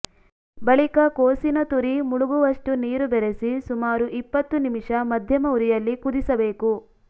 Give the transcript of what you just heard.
ಬಳಿಕ ಕೋಸಿನ ತುರಿ ಮುಳುಗುವಷ್ಟು ನೀರು ಬೆರೆಸಿ ಸುಮಾರು ಇಪ್ಪತ್ತು ನಿಮಿಷ ಮಧ್ಯಮ ಉರಿಯಲ್ಲಿ ಕುದಿಸಬೇಕು